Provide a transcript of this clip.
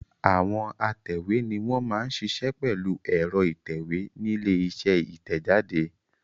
Àwọn atẹ̀wé ni wọ́n máa ń ṣiṣẹ́ pẹ̀lú ẹ̀rọ ìtẹ̀wé nílé iṣẹ́ ìtẹ̀jáde.